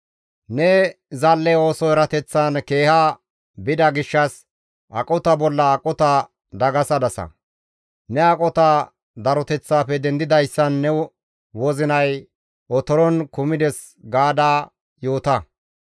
Ne zal7e ooso erateththan keeha bida gishshas, aqota bolla aqota dagasadasa; ne aqota daroteththafe dendidayssan ne wozinay otoron kumides gaada yoota.